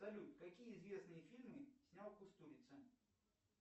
салют какие известные фильмы снял кустурица